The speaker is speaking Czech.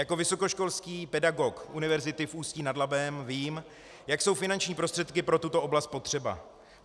Jako vysokoškolský pedagog Univerzity v Ústí nad Labem vím, jak jsou finanční prostředky pro tuto oblast potřeba.